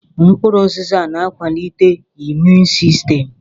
Mkpụrụ ụzịza na-akwalite imuun sistem.